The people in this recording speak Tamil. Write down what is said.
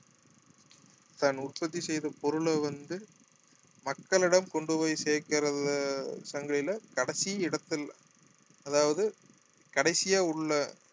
தான் உற்பத்தி செய்த பொருளை வந்து மக்களிடம் கொண்டு போய் சேர்க்கிறது சந்தையில கடைசி இடத்தில் அதாவது கடைசியா உள்ள